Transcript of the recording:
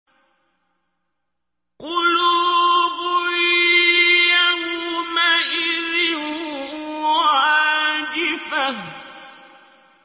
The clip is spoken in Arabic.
قُلُوبٌ يَوْمَئِذٍ وَاجِفَةٌ